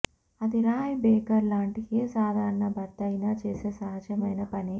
అది Ray Baker లాంటి ఏ సాధారణ భర్తయినా చేసే సహజమైన పనే